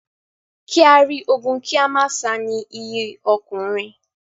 Kí á rí ogun kí a má sá ni iyì ọkùnrin.